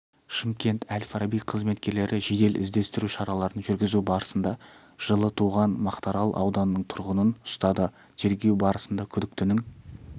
шымкент әл-фараби қызметкерлері жедел іздестіру шараларын жүргізу барысында жылы туған мақтарал ауданының тұрғынын ұстады тергеу барысында күдіктінің